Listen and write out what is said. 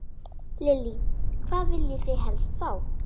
Lillý: Hvað viljið þið helst fá?